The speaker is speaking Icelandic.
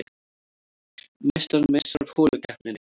Meistarinn missir af holukeppninni